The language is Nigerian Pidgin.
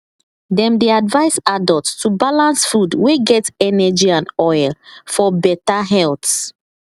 dem dey advise adults to balance food wey get energy and oil for better health